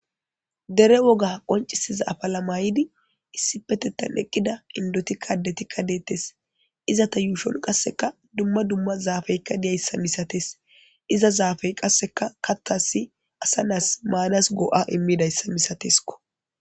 Dere woga qoncisiza afala maydi issi petettan eqqida indoti addetikka deettes. Izata yuushon qasseka dumma dumma zaafeyikka diya issa misates. Iza zaafey qasseka kathasi asa naasi maanas go'a immida issa misateskko.